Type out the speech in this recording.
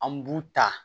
An b'u ta